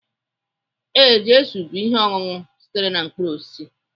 Ee, jusuu bụ ihe ọṅụṅụ sitere na mkpụrụ osisi